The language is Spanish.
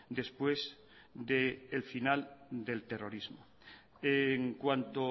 después del final del terrorismo en cuanto